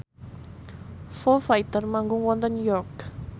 Foo Fighter manggung wonten York